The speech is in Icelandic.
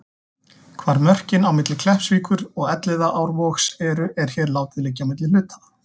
Hvar mörkin á milli Kleppsvíkur og Elliðaárvogs eru, er hér látið liggja á milli hluta.